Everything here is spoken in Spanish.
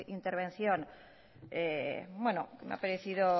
intervención que me ha parecido